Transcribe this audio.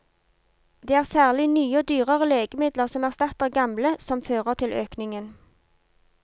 Det er særlig nye og dyrere legemidler som erstatter gamle, som fører til økningen.